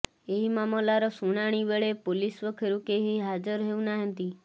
ଏହି ମାମଲାର ଶୁଣାଣି ବେଳେ ପୋଲିସ ପକ୍ଷରୁ କେହି ହାଜର ହେଉନାହାନ୍ତି